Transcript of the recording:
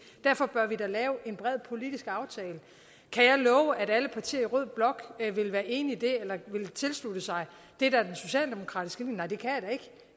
derfor bør vi da lave en bred politisk aftale kan jeg love at alle partier i rød blok vil være enige i det eller vil tilslutte sig det der er den socialdemokratiske linje nej det kan